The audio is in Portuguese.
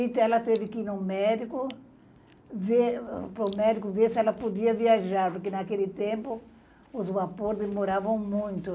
Então, ela teve que ir no médico ver, para o médico ver se ela podia viajar, porque, naquele tempo, os vapores demoravam muito.